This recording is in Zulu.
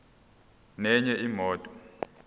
nenye imoto